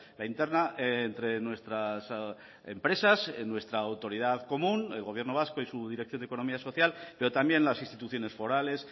la interna entre nuestras empresas en nuestra autoridad común el gobierno vasco y su dirección de economía social pero también las instituciones forales